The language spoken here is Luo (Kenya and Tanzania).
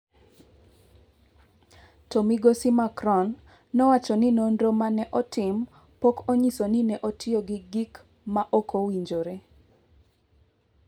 To migosi Macron nowacho ni nonro ma ne otim pok onyiso ni ne otiyo gi gik ma ok owinjore.